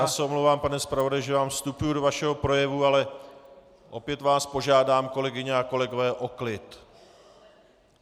Já se omlouvám, pane zpravodaji, že vám vstupuji do vašeho projevu, ale opět vás požádám, kolegyně a kolegové, o klid.